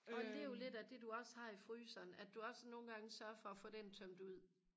og lev lidt af det du også har i fryseren at du også nogle gange sørger for at få den tømt ud